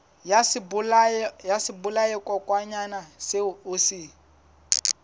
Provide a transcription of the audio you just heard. ya sebolayakokwanyana seo o se